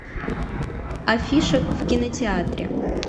афиша в кинотеатре